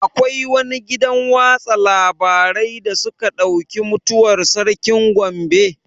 Akwai wani gidan watsa labarai da suka ɗauki mutuwar sarkin Gombe?